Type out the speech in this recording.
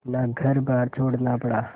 अपना घरबार छोड़ना पड़ा